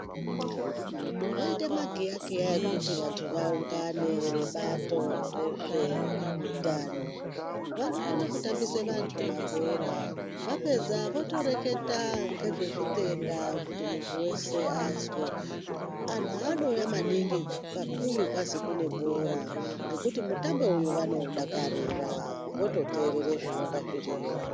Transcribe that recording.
Voita magiyakiya okuti vantu vaungane vebato rezveutano. Vanokone kutambisa vantu mabhora vapedza votoreketa ngezvezvitenda kuti muntu weshe azwe. Antu anouya maningi kakuyu kwazi kune bhora ngokuti mutambo vanoudakarira vototeerera zvinonga zviriyo.